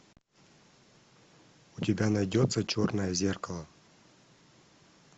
у тебя найдется черное зеркало